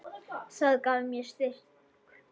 Það gaf mér styrk.